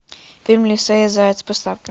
фильм лиса и заяц поставь ка